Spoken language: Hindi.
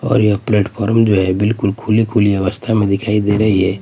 और यह प्लैट फॉर्म जो हैं बिल्कुल खुली खुली अवस्था में दिखाई दे रही हैं।